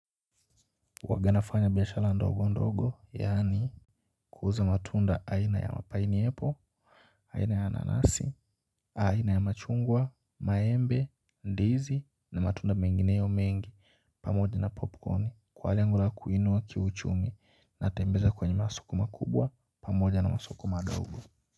Huwaga nafanya biashala ndogo ndogo yaani kuuza matunda aina ya pineaple aina ya nanasi, aina ya machungwa, maembe, ndizi, na matunda mengineyo mengi pamoja na popcorn kwa lengo la kuinua kiuchumi natembelea kwenye masoko makubwa pamoja na masoko madogo.